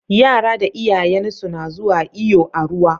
Yara da iyayansu na zuwa iyo a ruwa